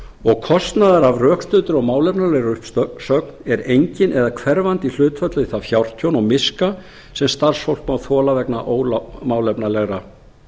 og kostnaður af rökstuddri og málefnalegri uppsögn er enginn eða hverfandi í hlutfalli við það fjártjón og miska sem starfsfólk má þola vegna ómálefnalegra